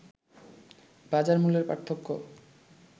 বাজার মূল্যের পার্থক্য